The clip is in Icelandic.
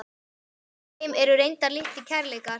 Með þeim voru reyndar litlir kærleikar.